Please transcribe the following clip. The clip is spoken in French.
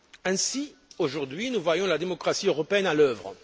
Ainsi, aujourd'hui, nous voyons la démocratie européenne à l'œuvre.